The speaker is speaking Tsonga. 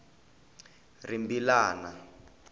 rimbilana